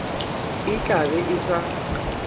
e tla be e sa